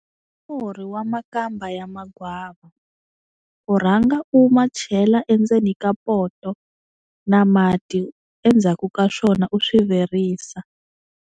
Murhi wa makamba ya magwava, u rhanga u ma chela endzeni ka poto na mati endzhaku ka swona u swi virisa.